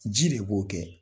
Ji de b'o kɛ.